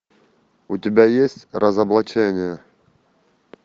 у тебя есть разоблачение